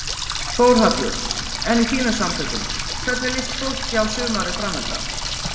Þórhallur: En í þínum samtökum, hvernig líst fólki á sumarið framundan?